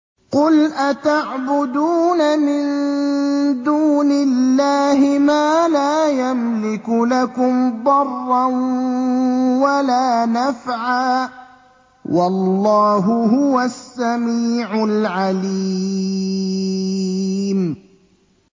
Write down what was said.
قُلْ أَتَعْبُدُونَ مِن دُونِ اللَّهِ مَا لَا يَمْلِكُ لَكُمْ ضَرًّا وَلَا نَفْعًا ۚ وَاللَّهُ هُوَ السَّمِيعُ الْعَلِيمُ